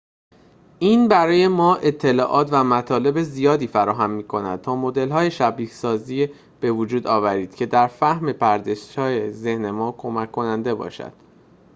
این برای ما اطلاعات و مطالب زیادی فراهم می‌کند تا مدل‌های شبیه‌سازی بوجود آوریم که در فهم پردازش‌های ذهن ما کمک کننده است